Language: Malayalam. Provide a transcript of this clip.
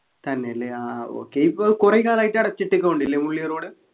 തന്നെല്ലെ ആഹ് okay ഇപ്പൊ കുറെ കാലായിട്ട് അടച്ചിട്ടേക്കു അല്ലെ മുള്ളി road